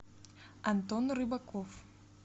антон рыбаков